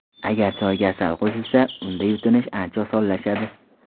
Agar choyga asal qo‘shilsa, unda yutinish ancha osonlashadi.